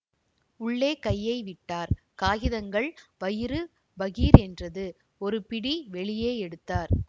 உள்ளே கையை விட்டார் காகிதங்கள் வயிறு பகீர் என்றது ஒரு பிடி வெளியே எடுத்தார்